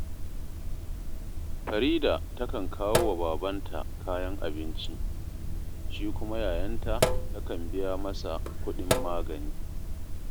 Farida takan kawo wa babanta kayan abinci, shi kuma yayanta takan biya masa kuɗin magani